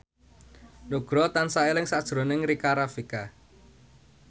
Nugroho tansah eling sakjroning Rika Rafika